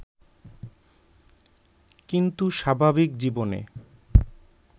কিন্তু স্বাভাবিক জীবনে